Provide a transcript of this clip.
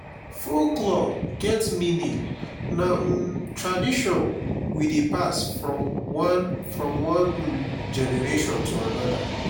folklore get meaning na um tradition we dey pass from one from one um generation to another.